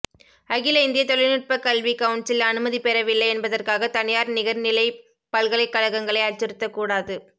அகில இந்திய தொழில்நுட்பக் கல்வி கவுன்சில் அனுமதி பெறவில்லை என்பதற்காக தனியார் நிகர்நிலைப் பல்கலைக்கழகங்களை அச்சுறுத்த கூடாது